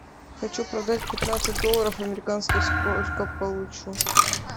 хочу продать пятнадцать долларов американских сколько получу